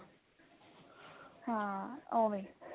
ਹਾਂ ਓਵੇਂ ਹੀ